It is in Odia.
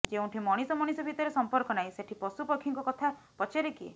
ଯେଉଁଠି ମଣିଷ ମଣିଷ ଭିତରେ ସମ୍ପର୍କ ନାହିଁ ସେଠି ପଶୁ ପକ୍ଷୀଙ୍କ କଥା ପଚାରେ କିଏ